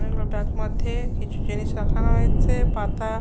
অনেকগুলো টাক মধ্যে কিছু জিনিস রাখা হয়েছে পাতা--